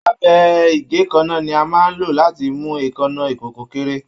Abẹ igèékánná ní a máa n ló láti mú èékánná ikòkò kéré.